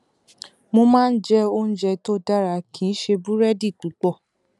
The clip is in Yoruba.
mo máa ń jẹ oúnjẹ tó dára kì í ṣe búrẹdì púpọ